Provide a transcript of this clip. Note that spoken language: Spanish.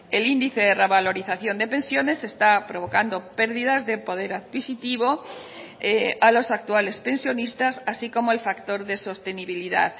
el índice de revalorización de pensiones está provocando pérdidas de poder adquisitivo a los actuales pensionistas así como el factor de sostenibilidad